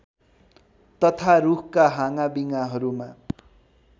तथा रुखका हाँगाविँगाहरूमा